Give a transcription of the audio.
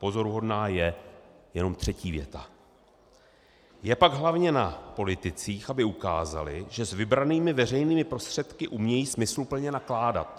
Pozoruhodná je jenom třetí věta: Je pak hlavně na politicích, aby ukázali, že s vybranými veřejnými prostředky umějí smysluplně nakládat.